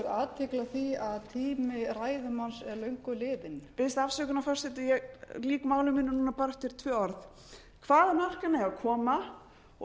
athygli á því að tími ræðumanns er löngu liðinn biðst afsökunar forseti ég lýk máli mínu núna bara eftir tvö orð hvaðan orkan eigi að koma og